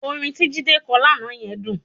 Orin tí Jídé kọ lánàá yẹn dùn